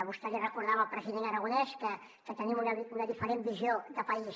vostè li recordava al president aragonès que tenim una diferent visió de país